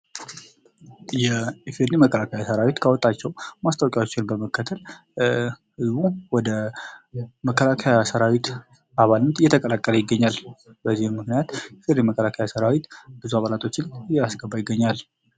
የኢፌዴሪ መከላከያ ሰራዊት ህገ መንግስት ካወጣቸው በመከተል ህዝቡ ወደ መከላከያ ሰራዊት እየተቀላቀለ ይገኛል። በዚህም ምክንያት የመከላከያ ሠራዊት ብዙ አባሎችን እያስገባ ይገኛል።